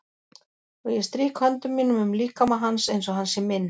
Og ég strýk höndum mínum um líkama hans einsog hann sé minn.